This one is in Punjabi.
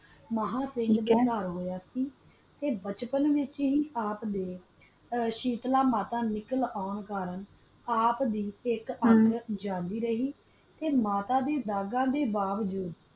ਮਹਾ ਚੰਦ ਖਾਂਦਾ ਸੀ ਕਾ ਬਚਪਨ ਚ ਸਾਥ ਦਾ ਦਿਤਾ ਤਾ ਮਾਤਾ ਨਾ ਆਪ ਖੁਦ ਹੀ ਬਗਾ ਦੀ ਰਖਵਾਲੀ ਕਰ ਦੀ ਰਹੀ ਮਾਤਾ ਗੀ ਬਗਾ ਦਾ ਬਾਗ